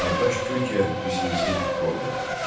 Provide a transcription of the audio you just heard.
qardaş Türkiyə misilsiz rol oynadı.